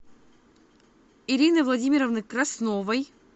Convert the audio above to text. ирины владимировны красновой